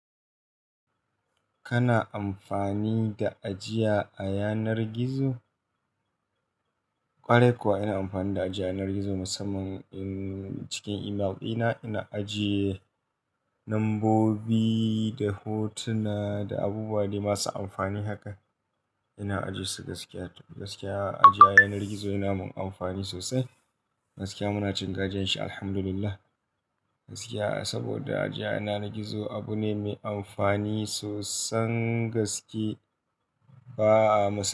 Kana amfani da ajiya a yanar gizo? Kwarai kuwa ina amfani da ajiya yanar gizo musamman in cikin email dina ina ajiye lambobi da hotuna da abubuwa dai masu amfani haka. Ina ajiye su gaskiya to. Gaskiya ajiya yanar gizo yana mun amfani sosai. Gaskiya muna cin gajianshi Alhamdulillah. Gaskiya saboda ajiya yana gizo abu ne mai amfani sosain gaske ba'a ma.